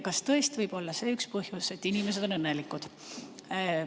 Kas tõesti võib olla see üks põhjus, et inimesed on õnnelikud?